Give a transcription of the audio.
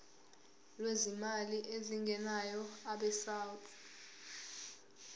lwezimali ezingenayo abesouth